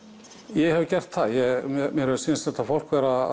ég hef gert það mér hefur sýnst þetta fólk vera